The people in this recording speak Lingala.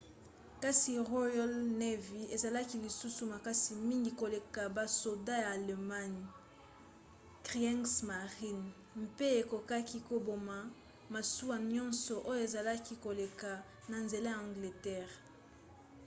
kasi royal navy ezalaki lisusu makasi mingi koleka basoda ya allemagne kriegsmarine mpe ekokaki koboma masuwa nyonso oyo ezalaki koleka na nzela ya angleterre